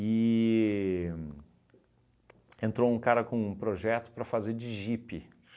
E entrou um cara com um projeto para fazer de jipe.